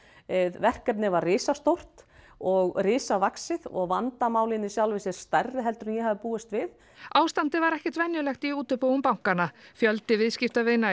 verkefnið var risastórt og risavaxið og vandamálin í sjálfu sér stærri heldur en ég hafði búist við ástandið var ekkert venjulegt í útibúum bankanna fjöldi viðskiptavina